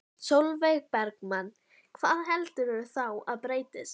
Sólveig Bergmann: Hvað heldurðu þá að breytist?